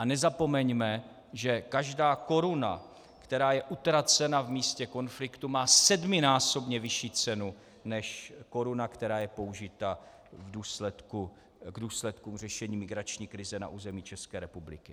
A nezapomeňme, že každá koruna, která je utracena v místě konfliktu, má sedminásobně vyšší cenu než koruna, která je použita v důsledku řešení migrační krize na území České republiky.